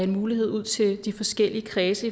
mulighed ud til de forskellige kredse